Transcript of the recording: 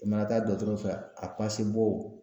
I mana taa dɔgɔtɔrɔ fɛ a bo